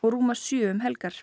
rúmar sjö um helgar